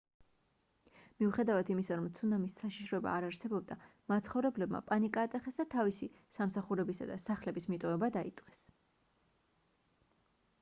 მიუხედავად იმისა რომ ცუნამის საშიშროება არ არსებობდა მაცხოვრებლებმა პანიკა ატეხეს და თავისი სამსახურებისა და სახლების მიტოვება დაიწყეს